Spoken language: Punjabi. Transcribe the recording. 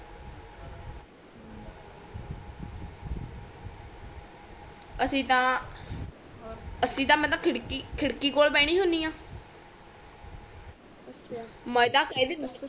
ਅਸੀ ਤਾ ਅਸੀਂ ਤਾ ਮੈਂ ਤਾ ਖਿੜਕੀ ਕੋਲ ਭੇਂਦੀ ਹੁੰਦੀ ਆ ਅੱਛਾ